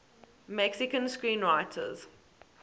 mexican screenwriters